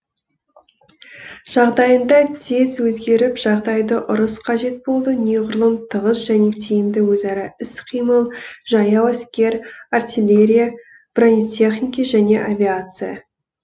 жағдайында тез өзгеріп жағдайды ұрыс қажет болды неғұрлым тығыз және тиімді өзара іс қимыл жаяу әскер артиллерия бронетехники және авиация